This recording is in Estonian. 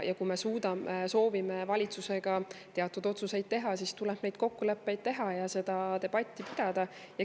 Kui me suudame ja soovime valitsusega teatud otsuseid teha, siis tuleb neid kokkuleppeid teha ja seda debatti pidada.